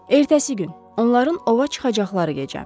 Ertəsi gün onların ova çıxacaqları gecə.